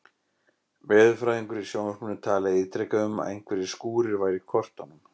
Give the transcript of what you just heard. Veðurfræðingur í sjónvarpinu talaði ítrekað um að einhverjir skúrir væru í kortunum.